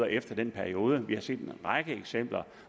efter den periode vi har set en række eksempler